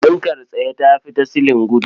Fankar tsaye ta fi ta silin gudu.